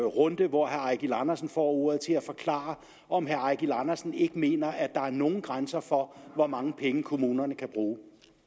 runde hvor herre eigil andersen får ordet at forklare om herre eigil andersen ikke mener at der er nogen grænser for hvor mange penge kommunerne kan bruge